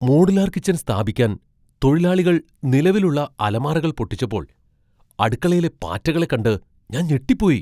Modular kitchen സ്ഥാപിക്കാൻ തൊഴിലാളികൾ നിലവിലുള്ള അലമാരകൾ പൊട്ടിച്ചപ്പോൾ അടുക്കളയിലെ പാറ്റകളെ കണ്ട് ഞാൻ ഞെട്ടിപ്പോയി.